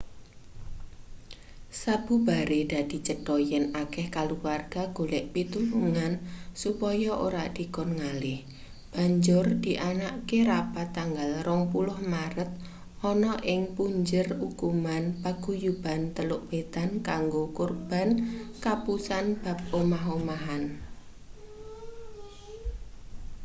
sabubare dadi cetho yen akeh kaluwarga golek pitulungan supaya ora dikon ngalih banjur dianakke rapat tanggal 20 maret ana ing punjer ukuman paguyuban teluk wetan kanggo korban kapusan bab omah-omahan